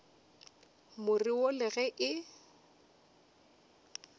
more wo le ge e